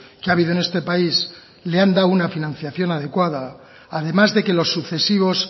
que ha habido en este país le han dado una financiación adecuada además de que los sucesivos